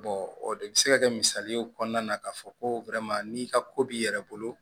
o de bɛ se ka kɛ misali ye o kɔnɔna na k'a fɔ ko n'i ka ko b'i yɛrɛ bolo